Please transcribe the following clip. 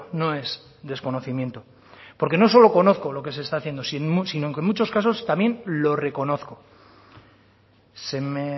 no es desconocimiento porque no es solo conozco lo que se está haciendo sino que en muchos casos también lo reconozco se me